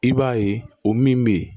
I b'a ye o min bɛ yen